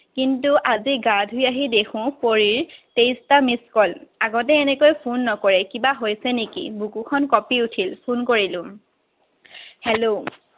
কিন্তু আজি গা ধুই আহি দেখো পৰীৰ তেইশটা missed call, আগতে এনেকৈ phone নকৰে। কিবা হৈছে নেকি? বুকুখন কপি উঠিল। Phone কৰিলো। Hello